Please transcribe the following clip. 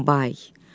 Donenbay.